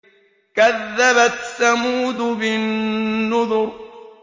كَذَّبَتْ ثَمُودُ بِالنُّذُرِ